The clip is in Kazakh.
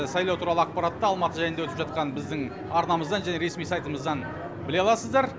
сайлау туралы ақпаратты алматы жайында өтіп жатқан біздің арнамыздан және ресми сайтымыздан біле аласыздар